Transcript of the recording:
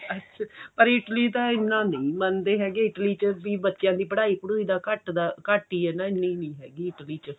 ਅੱਛਾ ਪਰ Italy ਤਾਂ ਇੰਨਾ ਨਹੀ ਮੰਨਦੇ ਹੈਗੇ Italy ਚ ਵੀ ਬੱਚਿਆਂ ਦੀ ਪੜ੍ਹਾਈ ਪੜੁਈ ਦਾ ਘੱਟ ਦਾ ਘੱਟ ਹੀ ਏ ਇੰਨੀ ਨਹੀਂ ਹੈਗੀ Italy ਚ